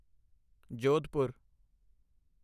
Jodhpur